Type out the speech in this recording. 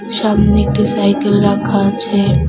সামনে একটি সাইকেল রাখা আছে।